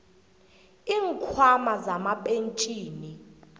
iinkhwama zamapentjhini